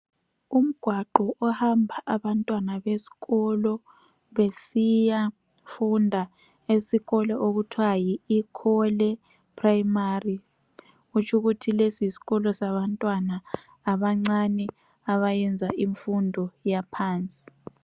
Umgwaqo ohamba abantwana besikolo besiyafunda esikolo okuthiwa yi Ikhole primary . Kutsho ukuthi lesi yisikolo sabantwana abancinyane abayenza imfundo yaphansi.